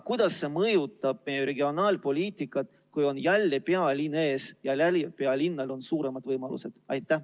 Kuidas see mõjutab meie regionaalpoliitikat, kui jälle on ees pealinn, kellel on suuremad võimalused?